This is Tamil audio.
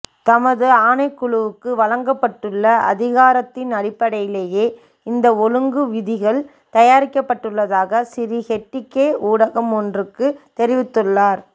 தமது ஆணைக்குழுவுக்கு வழங்கப்பட்டுள்ள அதிகாரத்தின் அடிப்படையிலேயே இந்த ஒழுங்குவிதிகள் தயாரிக்கப்பட்டுள்ளதாக சிறி ஹெட்டிகே ஊடகம் ஒன்றுக்கு தெரிவித்துள்ளார்